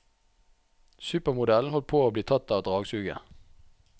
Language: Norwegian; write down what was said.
Supermodellen holdt på å bli tatt av dragsuget.